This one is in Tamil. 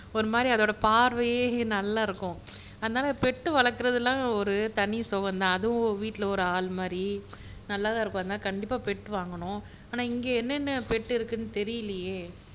ஒரு மாதிரி அதோட பார்வையே நல்லா இருக்கும் அதனால பெட் வளர்க்கிறது எல்லாம் தனி சுகம் தான் அதுவும் வீட்ல ஒரு ஆள்மாதிரி நல்லாத் தான் இருக்கும் அதனால கண்டிப்பா பெட் வாங்கனும் ஆனா இங்க என்னென்ன பெட் இருக்குன்னு தெரியலையே